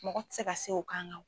Mɔgɔ tɛ se ka se o kan.